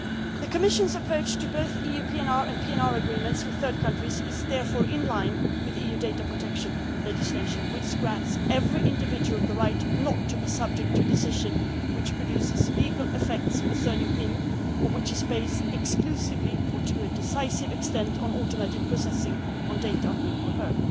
PNR. The Commission's approach to both the European PNR and PNR agreements with third countries is therefore in line with EU data protection legislation, which grants every individual the right not to be subject to a decision which produces legal effects concerning him or her, and which is based exclusively, or to a decisive extent, on automated processing of data on him